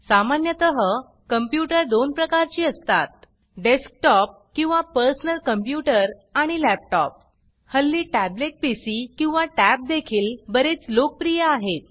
सामान्यतः कंप्यूटर 2 प्रकारची असतात डेस्कटॉप किंवा पर्सनल कंप्यूटर आणि लॅपटॉप हल्ली टॅबलेट पीसी किंवा टॅब देखील बरेच लोकप्रिय आहेत